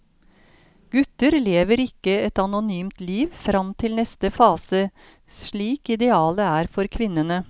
Gutter lever ikke et anonymt liv fram til neste fase slik idealet er for kvinnene.